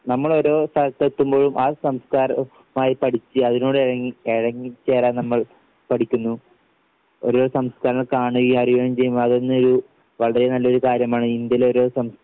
നമ്മൾ ഓരോ സ്ഥലത്തെത്തുമ്പോഴും ആ സംസ്കാരം മായി പഠിച്ച് അതിനോട് ഇഴങ്ങി ഇഴങ്ങിച്ചേരാൻ നമ്മൾ പഠിക്കുന്നു. ഓരോ സംസ്കാരം കാണുകയും അറിയുകയും ചെയ്യുമ്പോൾ അതൊന്നും ഒരു വളരെ നല്ലൊരു കാര്യമാണ് ഇന്ത്യയിലെ ഓരോ സം